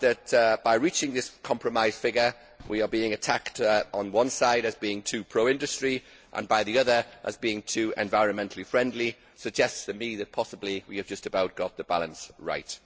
The fact that, by reaching this compromise figure, we are being attacked on one side as being too pro industry and on the other as being too environmentally friendly, suggests to me that possibly, we have just about got the balance right.